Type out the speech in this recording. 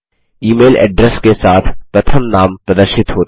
ई mail address के साथ प्रथम नाम प्रदर्शित होते हैं